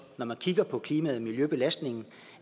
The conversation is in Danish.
når man kigger på klimaet og miljøbelastningen